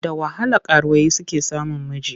Da wahala karuwai suke samun miji.